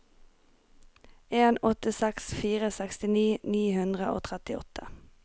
en åtte seks fire sekstini ni hundre og trettiåtte